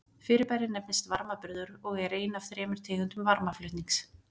Fyrirbærið nefnist varmaburður og er ein af þremur tegundum varmaflutnings.